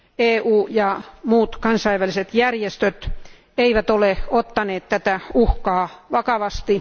EU ja muut kansainväliset järjestöt eivät ole ottaneet tätä uhkaa vakavasti.